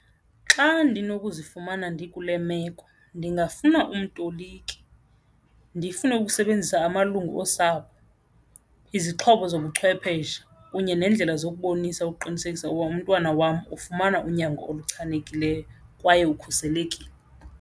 Xa ndinokuzifumana ndikule meko ndingafuna umtoliki, ndifune ukusebenzisa amalungu osapho, izixhobo zobuchwepheshe kunye neendlela zokubonisa ukuqinisekisa ukuba umntwana wam ufumana unyango oluchanekileyo kwaye ukhuselekile.